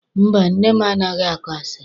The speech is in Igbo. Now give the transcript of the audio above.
Mba, nne m anaghị akọ asịrị.